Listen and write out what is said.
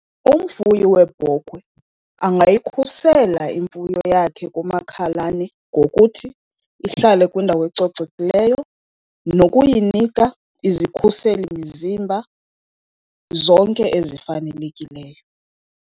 Umfuyi weebhokhwe angayikhusela imfuyo yakhe kumakhalane ngokuthi ihlale kwindawo ecocekileyo, nokuyinika izikhuselimzimba zonke ezifanelekileyo.